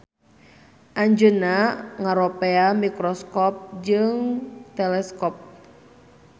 Anjeunna ngaropea mikroskop jeung teleskop.